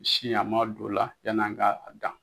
Si à m'a don o la, yanni an ka a dan.